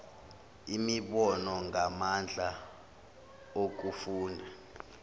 imibono ngamandla okufunda